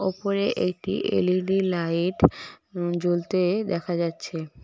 উপরে একটি L E D light উম জ্বলতে দেখা যাচ্ছে।